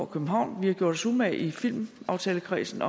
københavn vi har gjort os umage i filmaftalekredsen